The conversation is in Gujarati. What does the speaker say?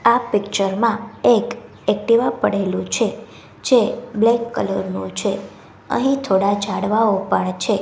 આ પિક્ચર માં એક એકટીવા પડેલું છે જે બ્લેક કલર નું છે અહીં થોડા ઝાડવાઓ પણ છે.